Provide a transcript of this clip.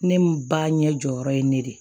Ne ba ɲɛ jɔyɔrɔ ye ne de